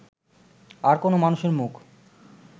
আর কোনো মানুষের মুখ